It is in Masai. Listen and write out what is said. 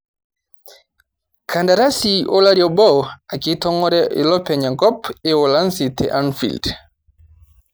Kandarasi olari obo ake itongóre ilopeny enkop e uholanzi te anfield